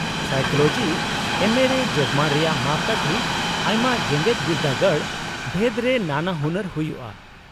-Psychology ᱮᱢᱹᱮ ᱨᱮ ᱡᱳᱜᱢᱟᱱ ᱨᱮᱭᱟᱜ ᱢᱟᱯᱠᱟᱴᱷᱤ ᱟᱭᱢᱟ ᱡᱮᱜᱮᱫ ᱵᱤᱨᱫᱟᱹᱜᱟᱲ ᱵᱷᱮᱫ ᱨᱮ ᱱᱟᱱᱟᱦᱩᱱᱟᱨ ᱦᱩᱭᱩᱜᱼᱟ ᱾